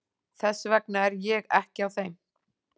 Þess vegna er ég ekki á þeim.